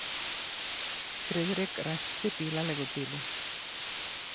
Friðrik ræsti bílaleigubílinn.